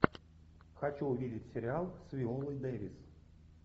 хочу увидеть сериал с виолой дэвис